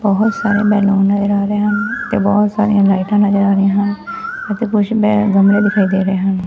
ਬੋਹੁਤ ਸਾਰੇ ਬੈਲੂਨ ਨਜ਼ਰ ਆ ਰਹੇ ਹਨ ਤੇ ਬੋਹੁਤ ਸਾਰੀਆਂ ਲਾਈਟਾਂ ਨਜਰ ਆ ਰਹੀਆਂ ਹਨ ਅਤੇ ਕੁੱਛ ਮੇਂ ਗਮਲੇ ਦਿਖਾਈ ਦੇ ਰਹੇ ਹਨ।